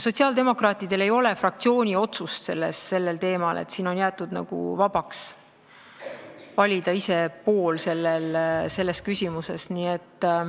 Sotsiaaldemokraatidel ei ole fraktsiooni otsust sellel teemal, see on jäetud nagu vabaks, saab ise valida poole selles küsimuses.